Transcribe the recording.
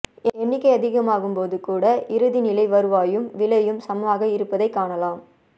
எண்ணிக்கை அதிகமாகும் போது கூட இறுதிநிலை வருவாயும் விலையும் சமமாக இருப்பதைக்காணலாம்